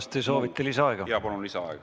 Kas te soovite lisaaega?